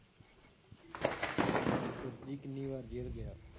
ਵਰਜੀ ਕਿੰਨੀ ਵਾਰ ਜੇਲ੍ਹ ਗਿਆ?